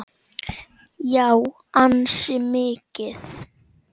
Já, ansi mikið.